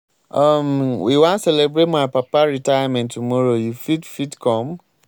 um we wan celebrate my papa retirement tomorrow you fit fit come?